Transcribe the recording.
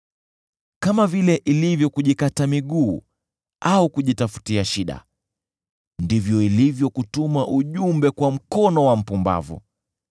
Kama vile ilivyo kujikata miguu au kunywa hasara, ndivyo ilivyo kutuma ujumbe kwa mkono wa mpumbavu.